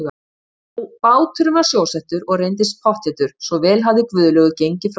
Nú, báturinn var sjósettur og reyndist pottþéttur, svo vel hafði Guðlaugur gengið frá öllu.